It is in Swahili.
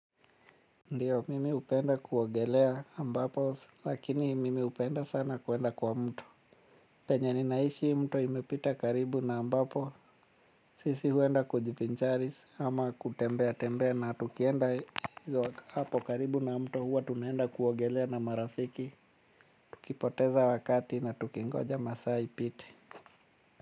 Ndio mimi hupenda kuogelea ambapo lakini mimi hupenda sana kwenda kwa mto. Penye ninaishi mto imepita karibu na ambapo sisi huenda kujivinjari ama kutembea tembea na tukienda hapo karibu na mto huwa tunaenda kuogelea na marafiki. Tukipoteza wakati na tukingoja masaa ipite.